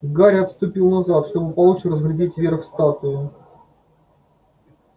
гарри отступил назад чтобы получше разглядеть верх статуи